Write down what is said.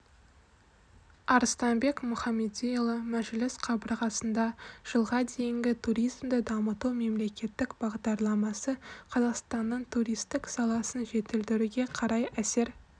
арыстанбек мұхамедиұлы мәжіліс қабырғасында жылға дейінгі туризмді дамыту мемлекеттік бағдарламасы қазақстанның туристік саласын жетілдіруге қалай әсер